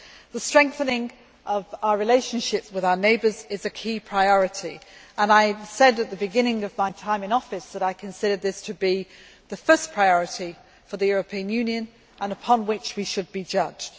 The strengthening of our relationship with our neighbours is a key priority and I said at the beginning of my time in office that I considered this to be the first priority for the European Union and the one on which we should be judged.